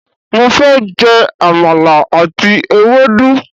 Mo fẹ́ je àmàlà àti ewédú